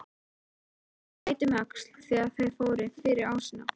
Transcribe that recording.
Síra Björn leit um öxl þegar þeir fóru fyrir ásinn.